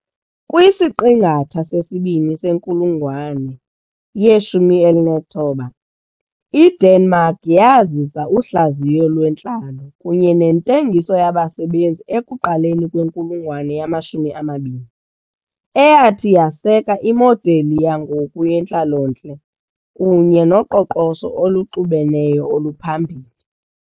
kwisiqingatha sesibini senkulungwane ye-19, iDenmark yazisa uhlaziyo lwentlalo kunye nentengiso yabasebenzi ekuqaleni kwenkulungwane yama-20, eyathi yaseka imodeli yangoku yentlalontle kunye noqoqosho oluxubeneyo oluphambili .